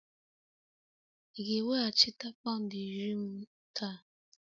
Ị ga-eweghachite pound iri m taa?